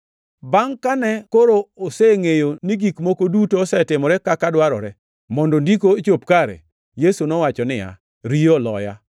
Bangʼ, kane koro osengʼeyo ni gik moko duto osetimore kaka dwarore, mondo Ndiko ochop kare, Yesu nowacho niya, “Riyo oloya.”